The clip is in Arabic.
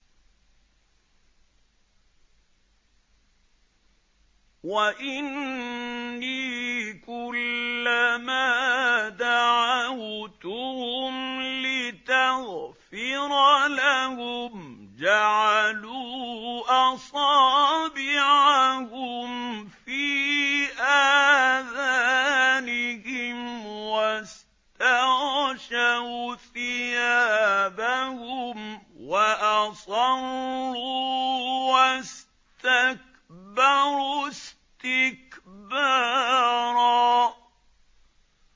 وَإِنِّي كُلَّمَا دَعَوْتُهُمْ لِتَغْفِرَ لَهُمْ جَعَلُوا أَصَابِعَهُمْ فِي آذَانِهِمْ وَاسْتَغْشَوْا ثِيَابَهُمْ وَأَصَرُّوا وَاسْتَكْبَرُوا اسْتِكْبَارًا